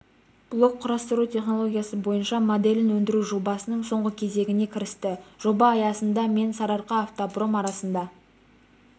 блок құрастыру технологиясы бойынша моделін өндіру жобасының соңғы кезеңіне кірісті жоба аясында мен сарыаркаавтопром арасында